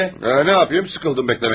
Nə yapayım, sıxıldım gözləməkdən.